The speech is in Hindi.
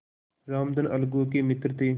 रामधन अलगू के मित्र थे